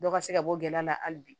Dɔ ka se ka bɔ gɛn na hali bi